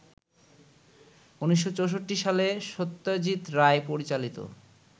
১৯৬৪ সালে সত্যজিৎ রায় পরিচালিত